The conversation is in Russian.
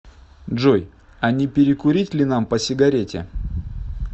джой а не перекурить ли нам по сигарете